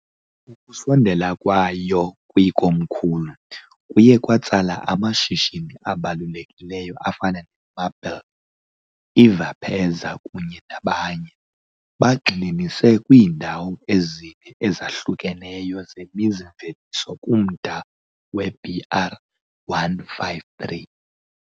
Ukusondela kwayo kwikomkhulu kuye kwatsala amashishini abalulekileyo afana neMabel cookies, I-Vepeza kunye nabanye, bagxininise kwiindawo ezine ezahlukeneyo zemizi-mveliso kumda we-BR-153.